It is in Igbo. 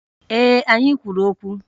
Ee, anyị kwuru okwu